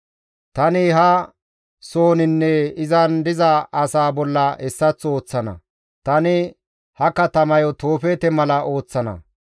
Tani ha sohozaninne izan diza asaa bolla hessaththo ooththana; tani ha katamayo Toofeete mala ooththana.